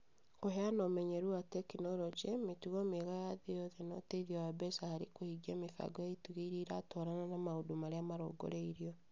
Kũheana ũmenyeru wa tekinoronjĩ, mĩtugo mĩega ya thĩ yothe na ũteithio wa mbeca harĩ kũhingia mĩbango ya itugĩ ĩrĩa ĩratwarana na maũndũ marĩa marongoreirio